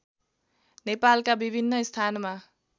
नेपालका विभिन्न स्थानमा